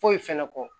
Foyi fɛnɛ kɔ